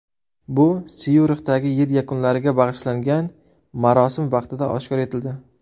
Bu Syurixdagi yil yakunlariga bag‘ishlangan marosim vaqtida oshkor etildi.